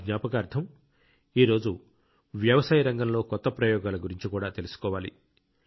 వారి జ్ఞాపకార్థం ఈ రోజు వ్యవసాయ రంగంలో కొత్త ప్రయోగాల గురించి కూడా తెలుసుకోవాలి